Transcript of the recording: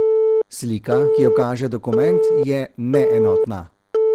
Slika, ki jo kaže dokument, je neenotna.